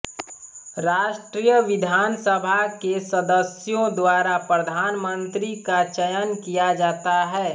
राष्ट्रीय विधानसभा के सदस्यों द्वारा प्रधानमन्त्री का चयन किया जाता है